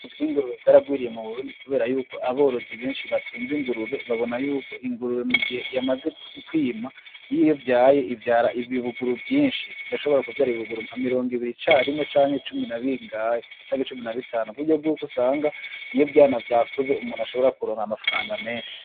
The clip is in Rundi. Ubworozi Bw'Ingurube Bwaragwiriye Mu Burundi Kubera Yuko Aborozi Benshi Batunze Ingurube Babona Yuko Ingurube Mu Gihe Yamaze Kwima Iyo Ivyaye Ivyara Ibibuguru Vyinshi, Irashobora Kuvyara Ibibuguru Nka Mirongo Ibiri Carimwe Canke Cumi Na Bingahe, Canke Cumi Na Bitanu Kuburyo Bwuko Usanga Iyo Ivyana Vyakuze Umuntu Ashobora Kuronka Amafranga Menshi.